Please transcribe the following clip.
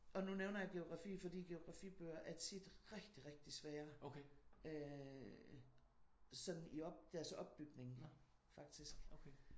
Og nu nævner jeg geografi fordi geografibøger er tit rigtig rigtig svære. Sådan i deres opbygning faktisk